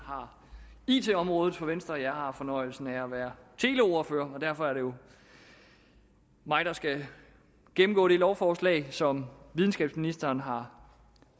har it området for venstre og jeg har fornøjelsen af at være teleordfører og derfor er det jo mig der skal gennemgå det lovforslag som videnskabsministeren har